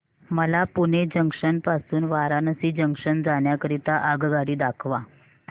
मला पुणे जंक्शन पासून वाराणसी जंक्शन जाण्या करीता आगगाडी दाखवा